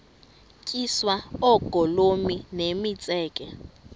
tyiswa oogolomi nemitseke